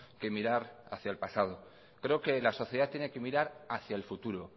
que mirar hacia el pasado creo que la sociedad tiene que mirar hacia el futuro